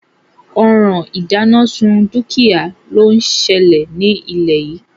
Òràn ìdánásun dúkìá ló selè nílé yìí